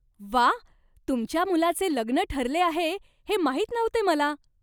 व्वा! तुमच्या मुलाचे लग्न ठरले आहे हे माहीत नव्हते मला!